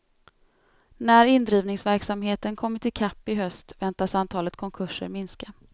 När indrivningsverksamheten kommit i kapp i höst väntas antalet konkurser minska.